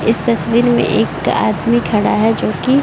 इस तस्वीर में एक आदमी खड़ा है जोकि--